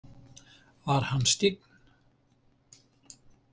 Var hann skyggn?